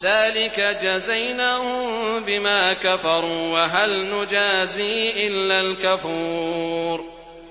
ذَٰلِكَ جَزَيْنَاهُم بِمَا كَفَرُوا ۖ وَهَلْ نُجَازِي إِلَّا الْكَفُورَ